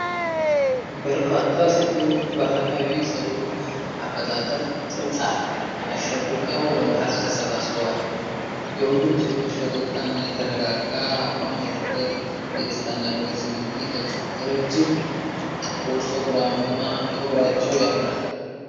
በርካታ ሴቶች በባህላዊ የፀጉር አበጣጠር (ጥብጣብ) አሸብርቀው በመሃል ተሰባስበዋል። የሁሉም ሴቶች ፈገግታ እና የተረጋጋ አቋም የፍቅር፣ የደስታ እና የኩራት ስሜትን ይገልጻል። ረዥም ጥቁር ፀጉራቸው ያምራል።